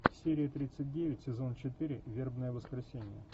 серия тридцать девять сезон четыре вербное воскресенье